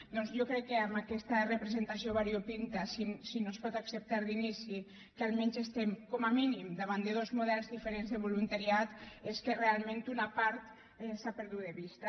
doncs jo crec que amb aquesta representació variopinta si no es pot acceptar d’inici que almenys estem com a mínim davant de dos models diferents de voluntariat és que realment una part s’ha perdut de vista